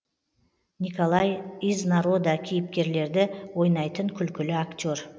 николай из народа кейіпкерлерді ойнайтын күлкілі актер